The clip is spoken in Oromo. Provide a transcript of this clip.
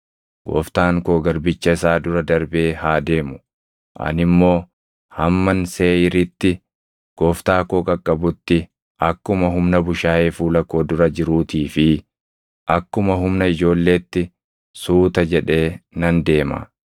Gooftaan koo garbicha isaa dura darbee haa deemu; ani immoo hamman Seeʼiiritti gooftaa koo qaqqabutti akkuma humna bushaayee fuula koo dura jirutii fi akkuma humna ijoolleetti suuta jedhee nan deema.”